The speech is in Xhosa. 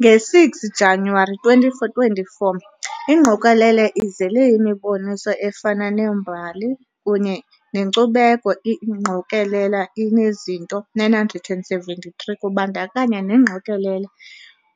Nge-6 Januwari 2024 ingqokelela izele yimiboniso efana nembali kunye nenkcubeko iingqokelela inezinto 973 kubandakanya nengqokelela